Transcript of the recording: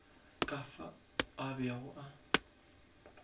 ka fao a bego a